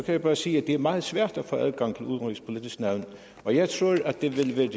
jeg bare sige at det er meget svært at få adgang til udenrigspolitisk nævn og jeg tror at det vil